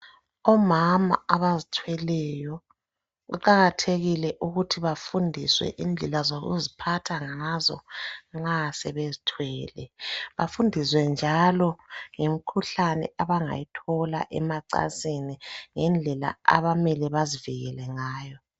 Omama abazithweleyo kuqakathekile ukuthi bafundiswe indlela zokuziphatha ngazo nxa sebezithwele. Bafundiswe njalo ngemkhuhlane abangayithola, emacansini ngendlela abamele bazivikele ngayo.